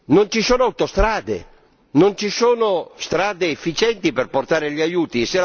Non ci sono autostrade né ci sono strade efficienti per portare gli aiuti.